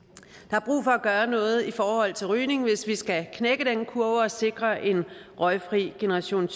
er brug for at gøre noget i forhold til rygning hvis vi skal knække den kurve og sikre en røgfri generation